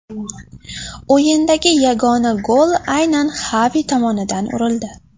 O‘yindagi yagona gol aynan Xavi tomonidan urildi.